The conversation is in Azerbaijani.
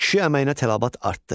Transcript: Kişi əməyinə tələbat artdı.